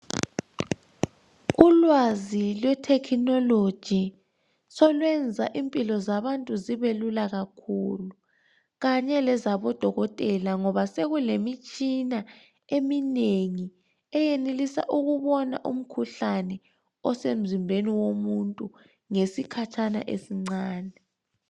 Ulwazi lwethekhinoloji solwenza impilo zabantu zibelula kakhulu kanye lezabodokola ngoba sokulemitshina eminengi eyenelisa ukubona umkhuhlane osemzimbeni womuntu ngesikhatshana esincane.